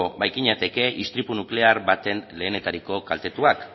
bait ginateke istripu nuklear baten lehenetariko kaltetuak